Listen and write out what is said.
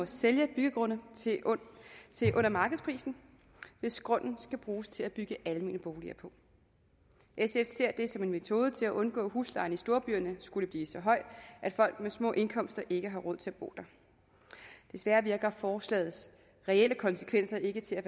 sælge byggegrunde til under markedsprisen hvis grundene skal bruges til at bygge almene boliger på sf ser det som en metode til at undgå at huslejen i storbyerne skulle blive så høj at folk med små indkomster ikke har råd til at bo der desværre virker forslagets reelle konsekvenser ikke til at